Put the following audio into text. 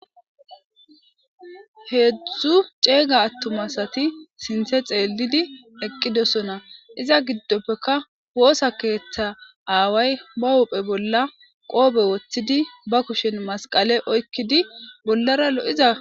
Heedzdzu ceega attuma asati sinththe xeellidi eqqidosona. Iza giddoppekka woosa keeththa aaway ba huphe bolla qoofe woththidi ba kushen masqale oyqqdii bollara lo'iza